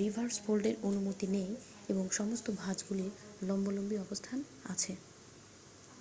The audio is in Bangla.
রিভার্স ফোল্ডের অনুমতি নেই এবং সমস্ত ভাঁজগুলির লম্বালম্বি অবস্থান আছে